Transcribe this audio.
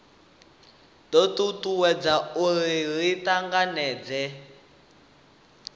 do tutuwedza uri ri tanganedzee